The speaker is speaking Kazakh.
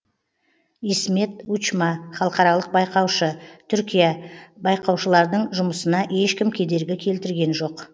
исмет учма халықаралық байқаушы түркия байқаушылардың жұмысына ешкім кедергі келтірген жоқ